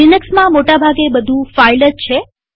લિનક્સમાં મોટા ભાગે બધું ફાઈલ જ છે